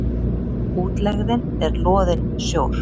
Útlegðin er loðinn sjór.